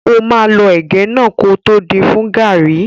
Ó máa lọ ẹ̀gẹ́ náà kótó din fún gàrrí.